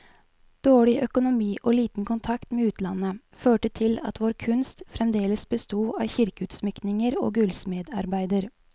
Dårlig økonomi og liten kontakt med utlandet, førte til at vår kunst fremdeles besto av kirkeutsmykninger og gullsmedarbeider.